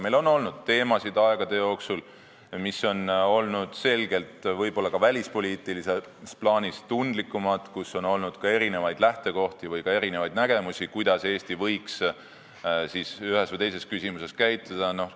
Meil on olnud aegade jooksul teemasid, mis on olnud võib-olla ka välispoliitilises plaanis tundlikumad, on olnud erinevaid lähtekohti või ka nägemusi, kuidas Eesti võiks ühes või teises küsimuses käituda.